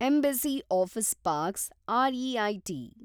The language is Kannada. embassy Office Parks REIT